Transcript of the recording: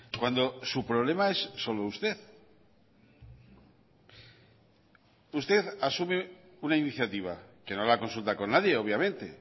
cuando su problema es solo usted usted asume una iniciativa que no la consulta con nadie obviamente